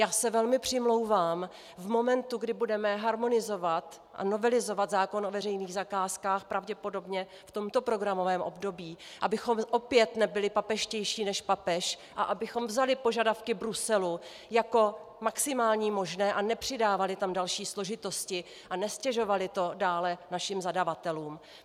Já se velmi přimlouvám v momentu, kdy budeme harmonizovat a novelizovat zákon o veřejných zakázkách pravděpodobně v tomto programovém období, abychom opět nebyli papežštější než papež a abychom vzali požadavky Bruselu jako maximální možné a nepřidávali tam další složitosti a neztěžovali to dále našim zadavatelům.